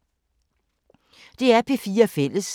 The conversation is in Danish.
DR P4 Fælles